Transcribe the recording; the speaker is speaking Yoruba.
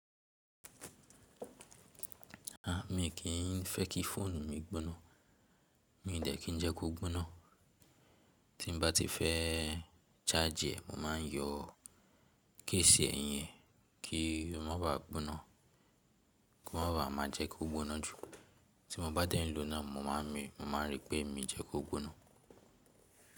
A, mi kì í fẹ́ kí fóònù mi gbóná, mi n dẹ̀ kí n jẹ kó gbóná. Tí mo bá ti fẹ́ ṣáàjì, mo ma n yọ kéṣì ẹ̀yìn kí ó má ba à gbóná, kó má ba à má jẹ kó gbóná jù. Tí mo bá dẹ́ ló náà, mo máa n rí pé mí jẹ kó gbóná.